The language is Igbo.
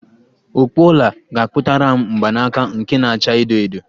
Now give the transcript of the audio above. Ọkpụ ọla ga-akpụtaram mgbanaka nke na-acha edo edo